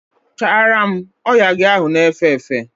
Chara m! Oya gị ahụ na efe efe!